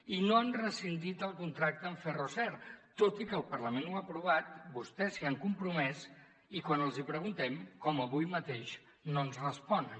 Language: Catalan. i no han rescindit el contracte amb ferroser tot i que el parlament ho ha aprovat vostès s’hi han compromès i quan els hi preguntem com avui mateix no ens responen